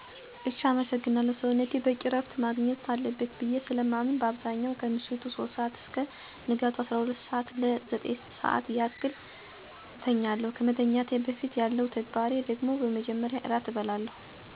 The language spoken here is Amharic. እሽ አመሰግናለሁ. ሰዉነቴ በቂ ረፍት ማግኘት አለበት ብዬ ስለማምን በአብዛኛው ከምሽቱ 3:00 አስከ ንጋቱ 12:00 ለ 9:00 ያክል አተኛለሁ. ከመተኛቴ በፊት ያለው ተግባሬ ደግሞ በመጀመሪያ ራት እበላለሁ. ከዛም ቢያንስ ግማሽ ሰዓት የሚሆን የእግር ጉዞ አደርግና ወደቤት እመለሳለሁ. ቤት ገብቼ መጽሐፍ አነባለሁ. በተጨማሪም ማህበራዊ ድህረ ገፅ ላይ የሚጠቅመኝን መረጃ እመለከትና ለመተኛት እዘጋጃለሁ.